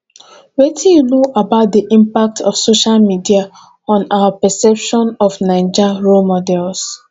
wetin you know about di impact of social media on our perception of naija role models